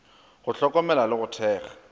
go hlokomela le go thekga